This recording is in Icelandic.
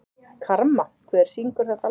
Karma, hver syngur þetta lag?